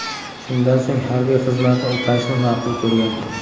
Shundan so‘ng harbiy xizmatni o‘tashni ma’qul ko‘rgan.